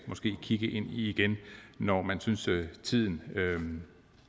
kigge på igen når man synes tiden